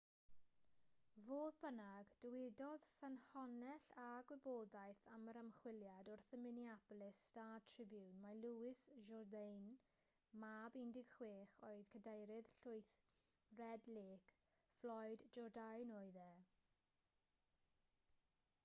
fodd bynnag dywedodd ffynhonnell â gwybodaeth am yr ymchwiliad wrth y minneapolis star-tribune mai louis jourdain mab 16 oed cadeirydd llwyth red lake floyd jourdain oedd e